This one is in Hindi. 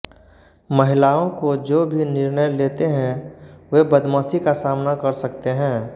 महिलाओं को जो भी निर्णय लेते हैं वे बदमाशी का सामना कर सकते हैं